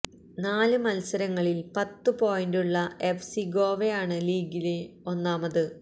നാല് മത്സരങ്ങളില് പത്ത് പോയിന്റുള്ള എഫ് സി ഗോവയാണ് ലീഗില് ഒന്നാമത്